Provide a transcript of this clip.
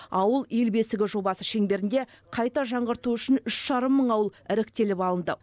ауыл ел бесігі жобасы шеңберінде қайта жаңғырту үшін үш жарым мың ауыл іріктеліп алынды